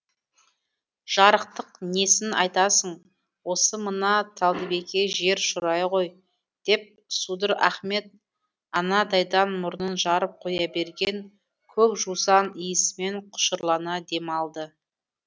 жарықтық несін айтасың осы мына талдыбеке жер шұрайы ғой деп судыр ахмет анадайдан мұрнын жарып қоя берген көк жусан иісімен құшырлана дем алды